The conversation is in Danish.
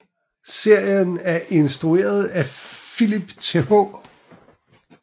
Serien er instrueret af Philip Th